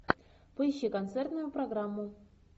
поищи концертную программу